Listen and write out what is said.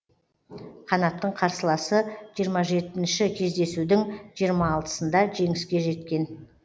қанаттың қарсыласы жиырма жетінші кездесудің жиырма алтысында жеңіске жеткен